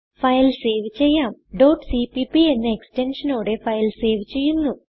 file save ചെയ്യാം cppഎന്ന extensionനോടെ ഫയൽ സേവ് ചെയ്യുന്നു